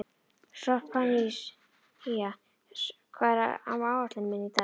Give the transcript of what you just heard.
Sophanías, hvað er á áætluninni minni í dag?